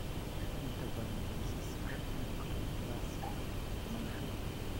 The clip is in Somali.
Inta badan kiisaska achondroplasia lama dhaxlo.